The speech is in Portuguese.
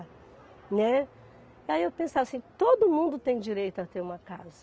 Né. E aí eu pensava assim, todo mundo tem direito a ter uma casa.